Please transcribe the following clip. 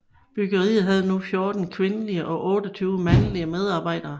Bryggeriet havde nu 14 kvindelige og 28 mandlige medarbejdere